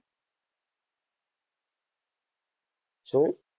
શું?